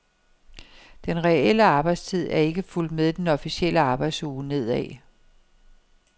Den reelle arbejdstid er ikke fulgt med den officielle arbejdsuge nedad.